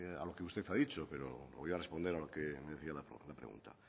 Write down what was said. a lo que usted ha dicho pero voy a responder a lo que me decía la pregunta